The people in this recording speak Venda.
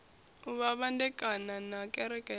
u vhandekana na kereke ya